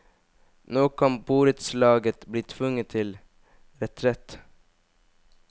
Nå kan borettslaget bli tvunget til retrett.